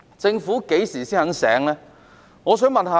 政府何時才會醒覺呢？